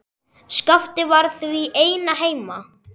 Skapti var því einn heima.